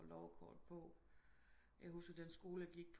Lårkort på jeg husker den skole jeg gik